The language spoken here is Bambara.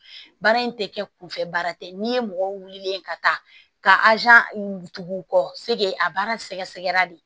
Baara in tɛ kɛ kunfɛ baara tɛ n'i ye mɔgɔ wulilen ka taa ka tugu u kɔ a baara sɛgɛrɛ de